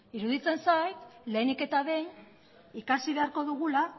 iruditzen zait lehenik eta behin ikasi beharko dugula